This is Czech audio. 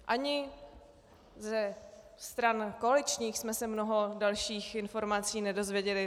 Ani ze stran koaličních jsme se mnoho dalších informací nedozvěděli.